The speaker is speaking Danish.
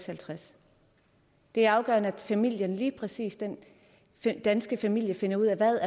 halvtreds det er afgørende at familien lige præcis den danske familie finder ud af hvad